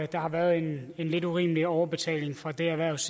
der har været en lidt urimelig overbetaling for det erhvervs